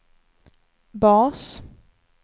bas